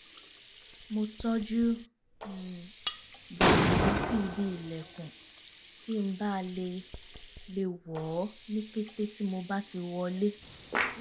mo tọ́jú um bàtà mi sí ibi ìlẹ̀kùn kí n bà le le wọ̀ ọ́ ní kété tí mo bá ti wọlé